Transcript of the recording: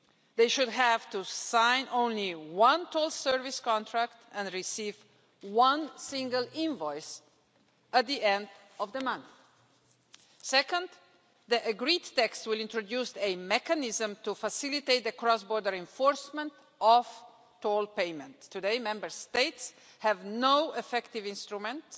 They should have to sign only one toll service contract and should receive a single invoice at the end of the month. Second, the agreed text will introduce a mechanism to facilitate the cross border enforcement of toll payment. Today, Member States have no effective instruments